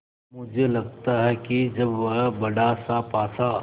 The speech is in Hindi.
मुझे लगता है कि जब वह बड़ासा पासा